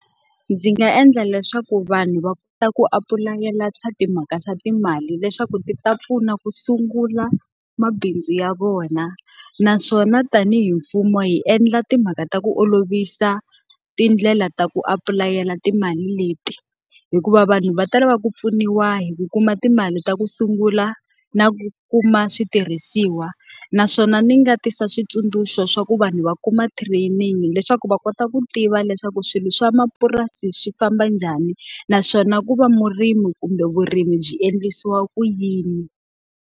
Ndzi nga endla leswaku vanhu va kota ku apulayela timhaka swa timali leswaku ti ta pfuna ku sungula mabindzu ya vona. Naswona tanihi mfumo hi endla timhaka ta ku olovisa tindlela ta ku apulayela timali leti, hikuva vanhu va ta lava ku pfuniwa hi ku kuma timali ta ku sungula na ku kuma switirhisiwa. Naswona ni nga tisa switsundzuxo swa ku vanhu va kuma training leswaku va kota ku tiva leswaku swilo swa mapurasi swi famba njhani, naswona ku va murimi kumbe vurimi byi endlisiwa ku yini.